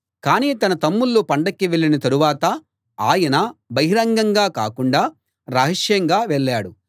కానీ తన తమ్ముళ్ళు పండక్కి వెళ్ళిన తరువాత ఆయన బహిరంగంగా కాకుండా రహస్యంగా వెళ్ళాడు